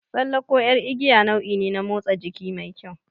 Tsalle ko ƴar igiya nau'i ne na motsa jiki mai kyau.